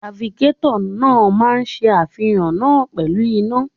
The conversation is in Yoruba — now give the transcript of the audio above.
Trafikétọ̀ náà máa ṣe àfihàn náà pẹ̀lú iná.